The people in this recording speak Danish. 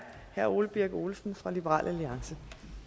herre ole birk olesen fra liberal alliance